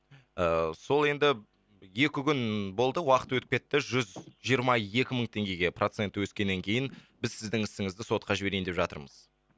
ыыы сол енді екі күн болды уақыт өтіп кетті жүз жиырма екі мың теңгеге проценті өскеннен кейін біз сіздің ісіңізді сотқа жіберейін деп жатырмыз